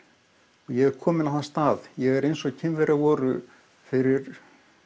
ég er kominn á þann stað ég er eins og Kínverjar voru fyrir